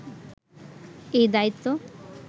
এই দায়িত্ব